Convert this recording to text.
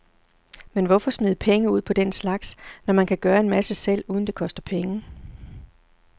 Men hvorfor smide penge ud på den slags, når man kan gøre en masse selv, uden det koster penge.